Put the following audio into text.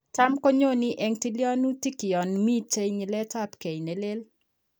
Tam konyone en tilyanutik yan miten nyiletabgei nelel